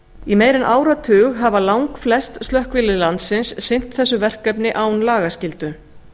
í meira en áratug hafa langflest slökkvilið landsins sinnt þessu verkefni án lagaskyldu